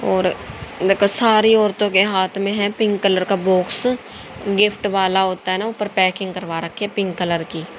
और देखो सारी औरतों के हाथ में है पिंक कलर का बॉक्स गिफ्ट वाला होता है ना ऊपर पैकिंग करवा रखी है पिंक कलर की।